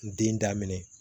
N den daminɛ